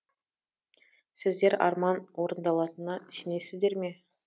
сіздер арман орындалатына сенесіздер ме